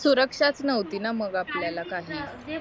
सुरक्षाच न्हवती ना मग आपल्याला